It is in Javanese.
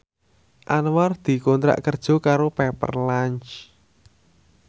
Anwar dikontrak kerja karo Pepper Lunch